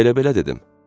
Elə-belə dedim.